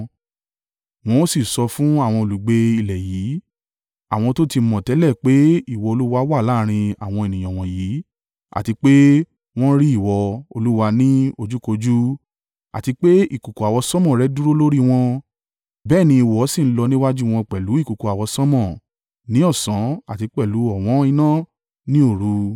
Wọ́n ó sì sọ fún àwọn olùgbé ilẹ̀ yìí. Àwọn tó ti mọ̀ tẹ́lẹ̀ pé ìwọ Olúwa wà láàrín àwọn ènìyàn wọ̀nyí àti pé wọ́n rí ìwọ, Olúwa, ní ojúkojú, àti pé ìkùùkuu àwọsánmọ̀ rẹ dúró lórí wọn, bẹ́ẹ̀ ni ìwọ sì ń lọ níwájú wọn pẹ̀lú ìkùùkuu àwọsánmọ̀ ní ọ̀sán àti pẹ̀lú ọ̀wọ́n iná ní òru.